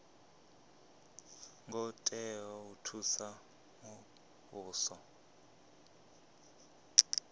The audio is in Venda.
ngo tea u thusa muvhuso